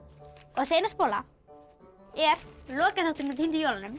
þessi eina spóla er lokaþátturinn af týndu jólunum